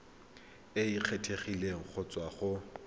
e kgethegileng go tswa go